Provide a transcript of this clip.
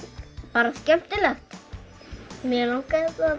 bara skemmtilegt mig langaði það